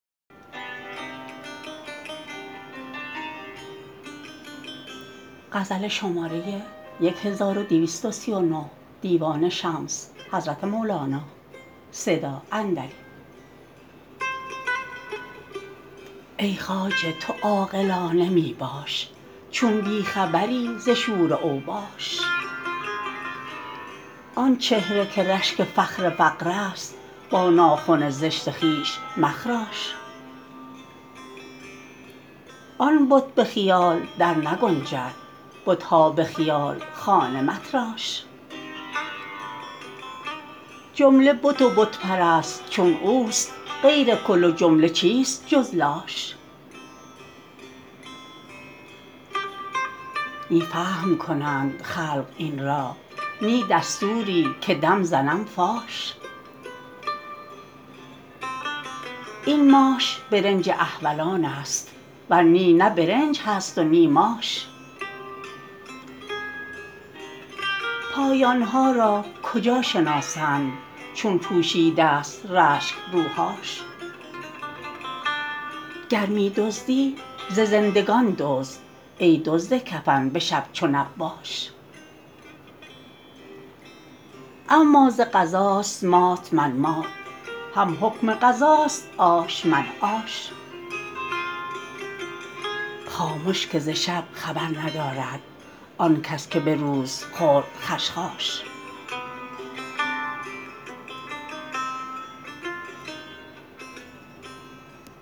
ای خواجه تو عاقلانه می باش چون بی خبری ز شور اوباش آن چهره که رشک فخر فقرست با ناخن زشت خویش مخراش آن بت به خیال درنگنجد بت ها به خیال خانه متراش جمله بت و بت پرست چون اوست غیر کل و جمله چیست جز لاش نی فهم کنند خلق این را نی دستوری که دم زنم فاش این ماش برنج احولانست ور نی نه برنج هست و نی ماش پایان ها را کجا شناسند چون پوشیدست رشک روهاش گر می دزدی ز زندگان دزد ای دزد کفن به شب چو نباش اما ز قضاست مات من مات هم حکم قضاست عاش من عاش خامش که ز شب خبر ندارد آن کس که به روز خورد خشخاش